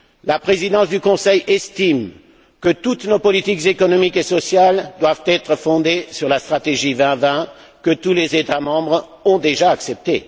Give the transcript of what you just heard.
La Présidence du Conseil estime que toutes nos politiques économiques et sociales doivent être fondées sur la stratégie Europe 2020, que tous les États membres ont déjà acceptée.